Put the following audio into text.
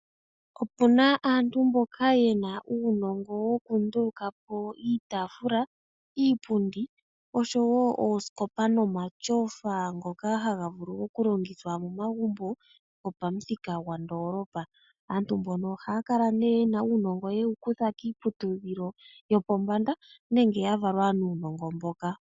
Opuna aantu mboka yena uunongo wokunduluka po iitafula, iipundi osho wo oosikopa nomatyofa ngoka haga vulu okulongithwa momagumbo go pamuthika gwandolopa. Aantu mbono ohaya kala ne yena uunongo mboka yewu kutha kiiputudhilo yopombanda nenge yavalwa nuunongo mboka.